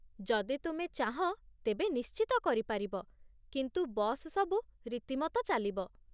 ଯଦି ତୁମେ ଚାହଁ, ତେବେ ନିଶ୍ଚିତ କରିପାରିବ, କିନ୍ତୁ ବସ୍ ସବୁ ରୀତିମତ ଚାଲିବ।